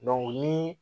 ni